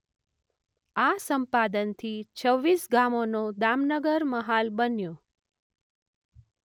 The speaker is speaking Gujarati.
આ સંપાદનથી છવીસ ગામોનો દામનગર મહાલ બન્યો.